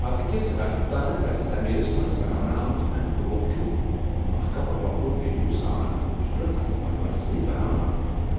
پتہٕ كِس راجپوُتانہٕ طرزِ تٲمیرس منز بناونہٕ آمُت ، امِیُك روخ چُھ محكم روپہٕ ڈیدیو سان خوبصورت سنگ مرمر سۭتۍ بناونہٕ آمُت ۔